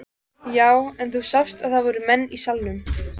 Já, en þú sást að það voru menn í salnum!